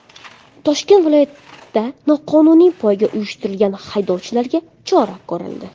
Toshkent viloyatida noqonuniy poyga uyushtirgan haydovchilarga chora ko‘rildi.